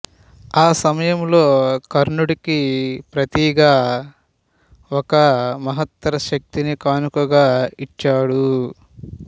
ఆ సమయంలో కర్ణుడికి ప్రతిగా ఒక మహత్తర శక్తిని కానుకగా ఇచ్చాడు